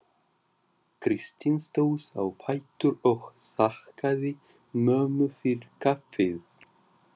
Kristín stóð á fætur og þakkaði mömmu fyrir kaffið.